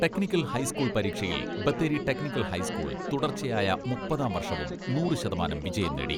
Technical high school പരീക്ഷയിൽ Bathery technical high school തുടർച്ചയായ മുപ്പതാം വർഷവും നൂറു ശതമാനം വിജയം നേടി.